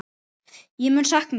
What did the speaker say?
Ég mun sakna þín.